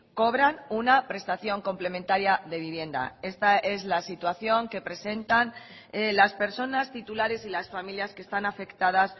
cobran una prestación complementaria de vivienda esta es la situación que presentan las personas titulares y las familias que están afectadas